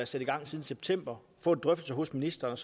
sat i gang siden september og få en drøftelse hos ministeren og